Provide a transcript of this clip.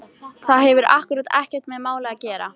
Það hefur akkúrat ekkert með málið að gera!